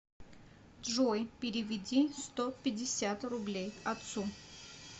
джой переведи сто пятьдесят рублей отцу